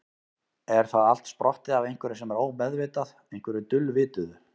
Er það allt sprottið af einhverju sem er ómeðvitað, einhverju dulvituðu?